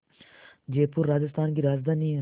जयपुर राजस्थान की राजधानी है